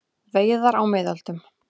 Veiðar á miðöldum.